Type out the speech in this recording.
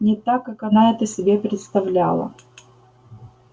не так как она это себе представляла